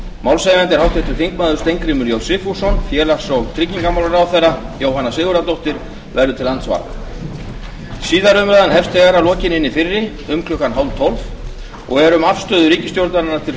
málshefjandi er háttvirtur þingmaður steingrímur j sigfússon félags og tryggingamálaráðherra jóhanna sigurðardóttir verður til andsvara síðari umræðan hefst þegar að lokinni hinni fyrri um klukkan ellefu þrjátíu og er um afstöðu ríkisstjórnarinnar til